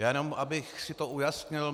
Já jenom abych si to ujasnil.